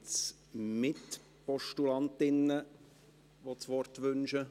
Gibt es Mitpostulantinnen, die das Wort wünschen?